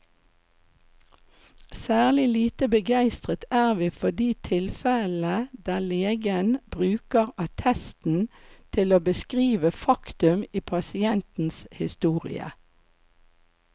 Særlig lite begeistret er vi for de tilfellene der legen bruker attesten til å beskrive faktum i pasientens historie.